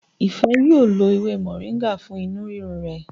Ife yíò ló ewé Moringa fún inú rirun rè.